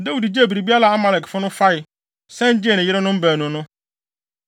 Dawid gyee biribiara a Amalekfo no fae, san gyee ne yerenom baanu no.